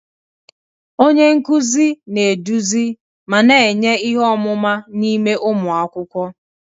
Onye nkuzi na-eduzi ma na-enye ihe ọmụma n'ime ụmụ akwụkwọ.